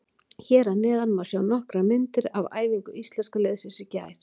Hér að neðan má sjá nokkrar myndir af æfingu Íslenska liðsins í gær.